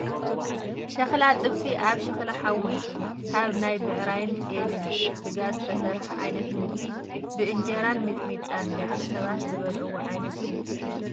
ሸክላ ጥብሲ ኣብ ሸክላ ሓዊ ካብ ናይ ብዕራይን ጤልን ስጋ ዝተሰረሓ ዓይነት ምግቢ ብእንጀራን ሚጥሚጣን ደቂ ሰባት ዝምገብዎ ዓይነት ምግቢ እዩ።